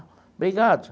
Obrigado.